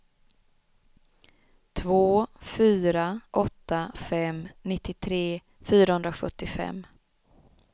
två fyra åtta fem nittiotre fyrahundrasjuttiofem